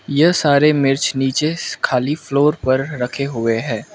यह सारे मिर्च नीचे खाली फ्लोर पर रखे हुए हैं।